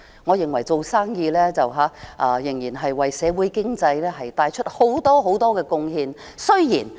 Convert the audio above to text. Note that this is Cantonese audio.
我認為做生意的人為社會經濟帶來很多貢獻。